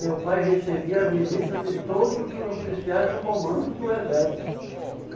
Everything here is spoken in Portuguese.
Teu pai recebia a visita de todos os oficiais do comando do exército.